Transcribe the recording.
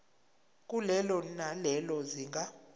kulelo nalelo zinga